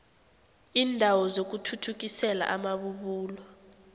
iindawo zokuthuthukisela amabubulo